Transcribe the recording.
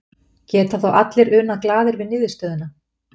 Geta þá allir unað glaðir við niðurstöðuna?